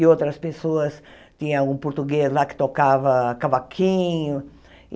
E outras pessoas... tinha um português lá que tocava cavaquinho.